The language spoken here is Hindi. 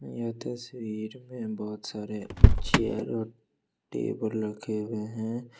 यह तस्वीर में बहुत सारे चेयर और टेबल रखे हुए हैं।